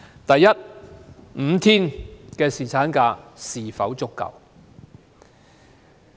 第一 ，5 天侍產假是否足夠？